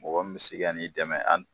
Mɔgɔ min si ka n'i dɛmɛ am